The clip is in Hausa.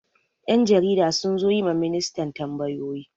Yan jarida sun zo yi ma ministan tambayoyi.